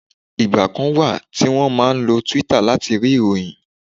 Ìgbà kan wà tí wọ́n máa ń lo Twitter láti rí ìròyìn